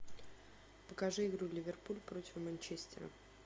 покажи игру ливерпуль против манчестера